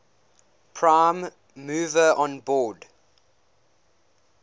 prime mover onboard